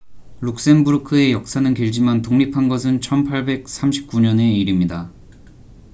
룩셈부르크의 역사는 길지만 독립한 것은 1839년의 일입니다